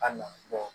A nafa